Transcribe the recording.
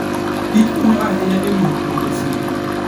Kich konyo ahinya e miyo pur osiki.